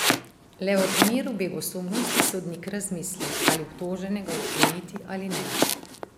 Le v primeru begosumnosti sodnik razmisli, ali obtoženega odkleniti ali ne.